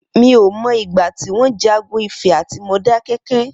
Mi ó mọ igbà tiwọn jàgùn Ifẹ àtí Módàkẹkẹ̀